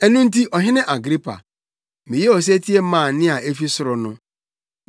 “Ɛno nti Ɔhene Agripa, meyɛɛ osetie maa nne a efi ɔsoro no.